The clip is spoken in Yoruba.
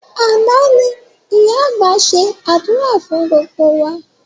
Àná ni ìyá àgbà ṣe àdúrà fún gbogbo wa